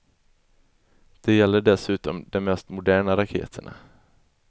Det gäller dessutom de mest moderna raketerna.